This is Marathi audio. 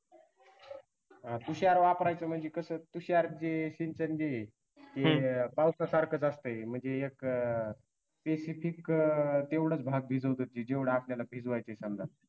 तुषार वापरायच म्हणजे कसं तुषार जे सिंचन जे आहे ते पावसासारख असतं म्हणजे एक specific तेवढच भाग भिजवत ते जेवढ आपल्याला भिजवायचय समजा